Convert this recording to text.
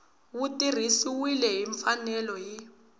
wu tirhisiwile hi mfanelo hi